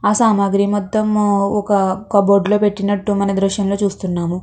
ఆ సామాగ్రి మొత్తం ఒక కప్ బోర్డు లో పెట్టినట్టు మనం ఈ దృశ్యం లో చూస్తున్నాము.